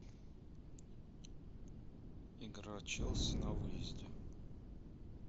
игра челси на выезде